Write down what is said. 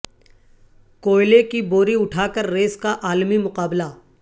کوئلے کی بوری اٹھا کر ریس کا عالمی مقابلہ